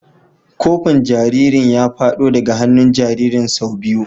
Kofin jariri ya fado daga hannun jaririn sau biyu.